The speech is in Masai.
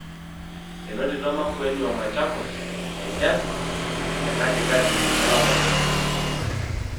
Enotito Makueni o Machakos enchan tekatikati olapa le okuni.